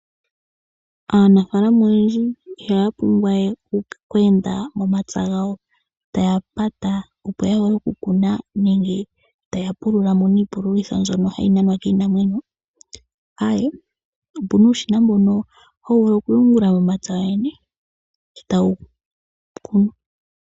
Aanafaalama oyendji ihaya pumbwa we oku enda momapya taya pata opo yakune nenge taya pululitha iipululo mbyono hayi nanwa kiinamwenyo, aawe opena uushina mbono hawu pulula momapya wowene etawu kunu.